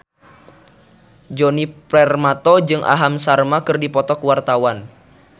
Djoni Permato jeung Aham Sharma keur dipoto ku wartawan